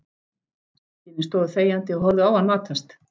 Systkinin stóðu þegjandi og horfðu á hann matast.